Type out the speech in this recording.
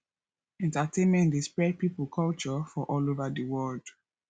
entertainment de spread pipos culture for all over di world